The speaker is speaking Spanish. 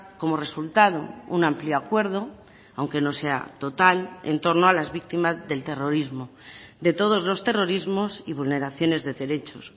como resultado un amplio acuerdo aunque no sea total en torno a las víctimas del terrorismo de todos los terrorismos y vulneraciones de derechos